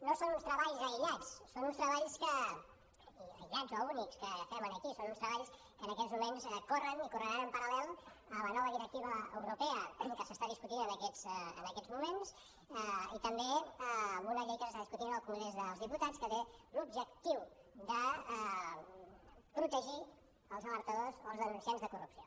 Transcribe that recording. no són uns treballs aïllats aïllats o únics que agafem aquí són uns treballs que en aquests moments corren i correran en paral·lel a la nova directiva europea que s’està discutint en aquests moments i també a una llei que s’està discutint al congrés dels diputats que té l’objectiu de protegir els alertadors o els denunciants de corrupció